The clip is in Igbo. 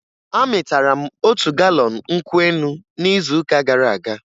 Amịtara m otu galọn nkwụ elu n'izuụka gara aga